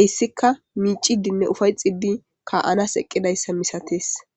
eyssikka miicidinne ufay xidi ka7anas eqqidayssa misatees